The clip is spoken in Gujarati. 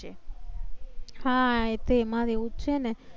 હા, એ તો એમાં એવું છે ને